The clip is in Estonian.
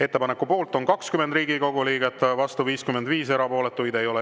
Ettepaneku poolt on 20 Riigikogu liiget, vastu 55, erapooletuid ei ole.